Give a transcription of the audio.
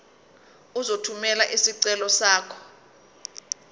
uzothumela isicelo sakho